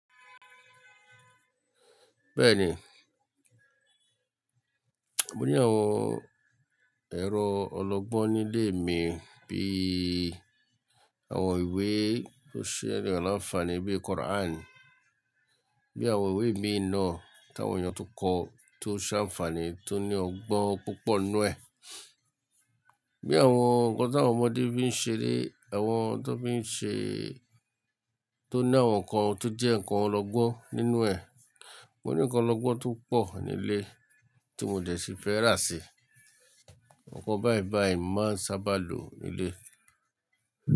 Bẹ́ẹ̀ni, mo ní àwọn ẹ̀rọ ọlọ́gbọ́n nílé mi bí i àwọn ìwé tó ṣe níyan lanfani bí i Quran, bí i àwọn ìwé mi na táwọn èèyàn tun kọ tó ṣe ànfàní tó ní ọgbọ́n púpọ̀ nínú ẹ̀, bí i àwọn ǹkan tí àwọn ọmọdé fi i ń ṣeré, àwọn tó fi ń ṣẹ́ tó ní àwọn ǹkan tó jẹ́ ǹkan ọlọ́gbọ́n nínú ẹ̀. Mo ní ǹkan ọlọ́gbọ́n tó pọ̀ nílé tí mo dẹ̀ sì fẹ́ rà sí i. Òǹkan báìbàì máa ń sábà lò nílé.